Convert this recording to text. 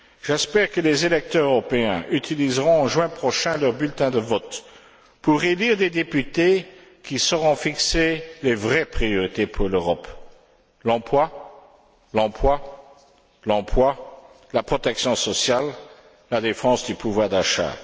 J'espère que les électeurs européens utiliseront, en juin prochain, leur bulletin de vote pour élire des députés qui sauront fixer les vraies priorités pour l'Europe l'emploi, l'emploi, l'emploi, la protection sociale, la défense du pouvoir d'achat.